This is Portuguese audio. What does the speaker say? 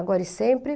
Agora e sempre.